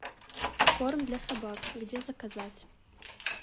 корм для собак где заказать